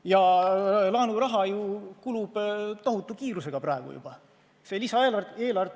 Ja laenuraha kulub praegu juba tohutu kiirusega.